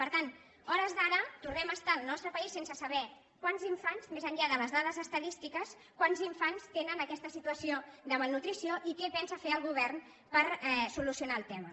per tant a hores d’ara tornem a estar al nostre país sense saber més enllà de les dades estadístiques quants infants te·nen aquesta situació de malnutrició i què pensa fer el govern per solucionar el tema